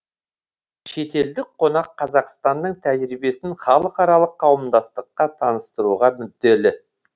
шетелдік қонақ қазақстанның тәжірибесін халықаралық қауымдастыққа таныстыруға мүдделі